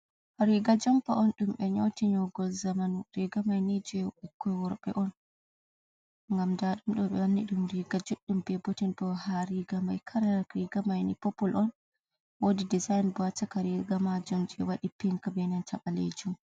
Riga jumpa on dum be nyoti nyogol zaman rigamai ni je bukkoi worbe on gam da dum do ɓe wanni dum riga juddum be boten bo ha riga mai, kala rigamaini popul on wodi desin ba taka riga majum je wadi pink benanta balejum.